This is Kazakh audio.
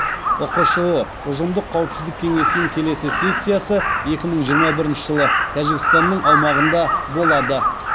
ұқшұ ұжымдық қауіпсіздік кеңесінің келесі сессиясы екі мың жиырма бірінші жылы тәжікстанның аумағында болады